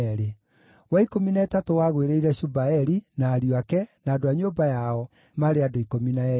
wa ikũmi na ĩtatũ wagũĩrĩire Shubaeli, na ariũ ake, na andũ a nyũmba yao, maarĩ andũ 12;